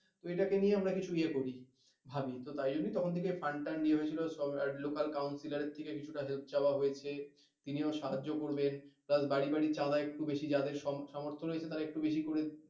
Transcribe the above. তো এটাকে নিয়ে আমরা কিছু ইয়ে করি, ভাবি তো তাইজন্যই তখন থেকে last টাণ্ড ইয়ে হয়েছিলো লোকাল councilor এর থেকে কিছু সাহায্য চাওয়া হয়েছে তিনিও সাহায্য করবেন plus বাড়ি বাড়ি চাঁদা একটু বেশি যাদের সামর্থ্য রয়েছে তারা একটু বেশি করে,